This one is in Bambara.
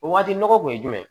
O waati nɔgɔ kun ye jumɛn ye